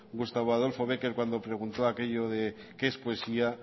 gustavo adolfo béquer cuando preguntó aquello de qué es poesía